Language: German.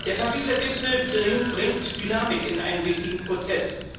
Der Pariser Gipfel bringt Dynamik in einem wichtigen Prozess.